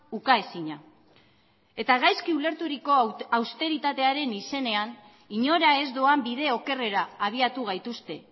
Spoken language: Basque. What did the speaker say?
ukaezina eta gaizki ulerturiko austeritatearen izenean inora ez doan bide okerrera abiatu gaituzte